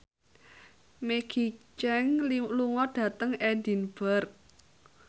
Maggie Cheung lunga dhateng Edinburgh